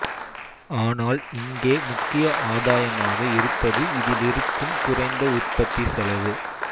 ஆனால் இங்கே முக்கிய ஆதாயமாக இருப்பது இதிலிருக்கும் குறைந்த உற்பத்தி செலவு